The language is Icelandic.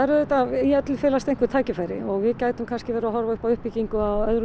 í öllu felast einhver tækifæri og við gætum kannski verið að horfa upp á uppbyggingu